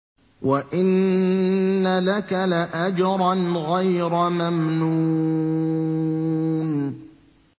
وَإِنَّ لَكَ لَأَجْرًا غَيْرَ مَمْنُونٍ